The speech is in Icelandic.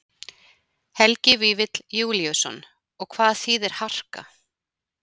Helgi Vífill Júlíusson: Og hvað þýðir harka?